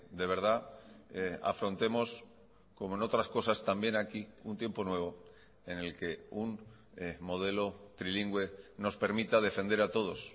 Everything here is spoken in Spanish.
de verdad afrontemos como en otras cosas también aquí un tiempo nuevo en el que un modelo trilingüe nos permita defender a todos